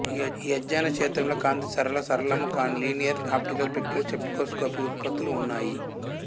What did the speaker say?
ఈ అధ్యయన క్షేత్రంలో కాంతి సరళ సరళము కానీ నాన్ లీనియర్ ఆప్టికల్ ప్రక్రియలు స్పెక్ట్రోస్కోపీ ఉత్పత్తులు ఉన్నాయి